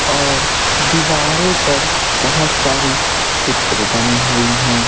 और दीवारों पर बहुत सारी चित्र बनी हुई हैं।